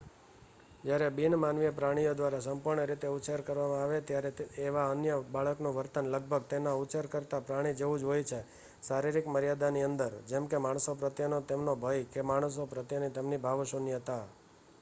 જ્યારે બિન-માનવીય પ્રાણીઓ દ્વારા સંપૂર્ણ રીતે ઉછેર કરવામાં આવે છે ત્યારે એવા વન્ય બાળકનું વર્તન લગભગ તેના ઉછેરકર્તા પ્રાણી જેવું જ હોય છે શારીરિક મર્યાદાની અંદર જેમકે માણસો પ્રત્યેનો તેમનો ભય કે માણસો પ્રત્યેની તમેની ભાવશૂન્યતા